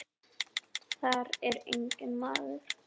Þar er enginn maður.